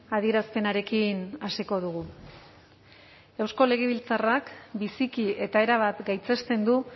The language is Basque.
adierazpenarekin hasiko dugu eusko legebiltzarrak biziki eta erabat gaitzesten du